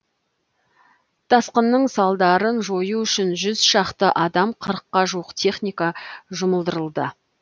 тасқынның салдарын жою үшін жүз шақты адам қырыққа жуық техника жұмылдырылды